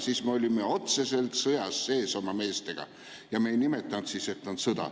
Siis me olime otseselt sõjas sees oma meestega, aga me ei öelnud siis, et on sõda.